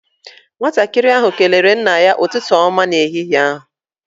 Nwatakịrị ahụ kelere nna ya ụtụtụ ọma n'ehihie.